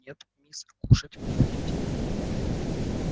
нет мисс кушать вы будете